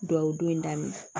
Dugawu don in daminɛ